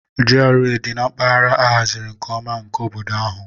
GRA dị na mpaghara a haziri nke ọma nke obodo ahụ.